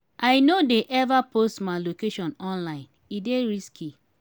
i no dey ever post my location online e dey risky.